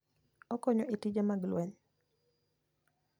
Okonyo e tije mag lweny.